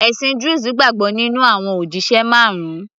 ẹ̀sìn druze gbàgbọ́ nínú àwọn òjíṣẹ marun